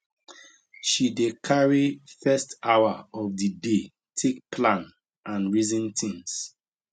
she dey carry first hour of di day take plan and reason things